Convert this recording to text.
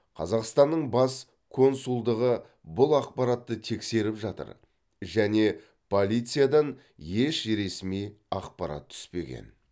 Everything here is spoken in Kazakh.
қазақстанның бас консулдығы бұл ақпаратты тексеріп жатыр және полициядан еш ресми ақпарат түспеген